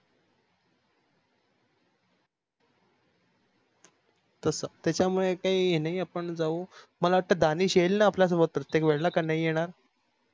तस त्याच्यामुळे काही हे नाही आपण जावू मला वाटत दाणीस येईल न आपल्या सोबत प्रतेक वेळे ला का नाही येणार तस